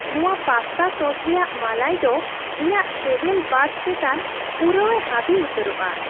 ᱱᱚᱣᱟ ᱯᱟᱥᱛᱟ ᱥᱚᱥ ᱨᱮᱭᱟᱜ ᱢᱟᱞᱟᱭ ᱫᱚ ᱤᱧᱟᱹᱜ ᱥᱮᱵᱮᱞ ᱵᱟᱰᱥ ᱪᱮᱛᱟᱱ ᱯᱩᱨᱟᱹᱣᱮ ᱦᱟᱵᱤ ᱩᱛᱟᱹᱨᱚᱜᱼᱟ ᱾